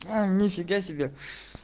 а нифига себе